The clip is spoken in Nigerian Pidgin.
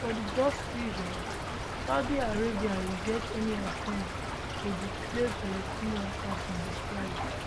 for di gulf region saudi arabia reject any attempts to displace palestinians as e describe